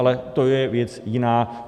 Ale to je věc jiná.